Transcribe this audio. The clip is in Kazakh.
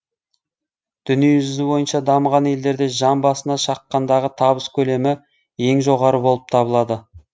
дүниежүзі бойынша дамыған елдерде жан басына шаққандағы табыс көлемі ең жоғары болып табылады